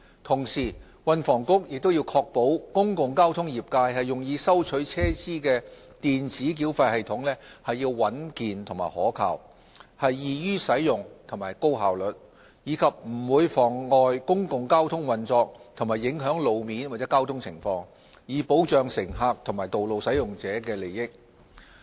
同時，運房局亦須確保公共交通業界用以收取車資的電子繳費系統應穩健可靠、易於使用和高效率，以及不會妨礙公共交通運作和影響路面或交通情況，以保障乘客和道路使用者的利益。